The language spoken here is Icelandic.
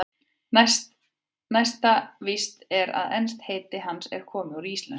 Næsta víst er að enskt heiti hans er komið úr íslensku.